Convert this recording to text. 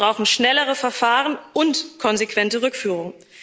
Wir brauchen schnellere Verfahren und konsequente Rückführung.